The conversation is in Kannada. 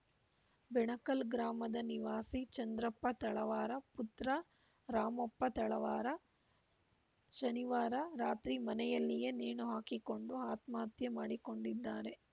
ಬೆಣಕಲ್‌ ಗ್ರಾಮದ ನಿವಾಸಿ ಚಂದ್ರಪ್ಪ ತಳವಾರ ಪುತ್ರ ರಾಮಪ್ಪ ತಳವಾರ ಮೂವತ್ತೈ ದು ಶನಿವಾರ ರಾತ್ರಿ ಮನೆಯಲ್ಲಿಯೇ ನೇಣು ಹಾಕಿಕೊಂಡು ಆತ್ಮಹತ್ಯೆ ಮಾಡಿಕೊಂಡಿದ್ದಾರೆ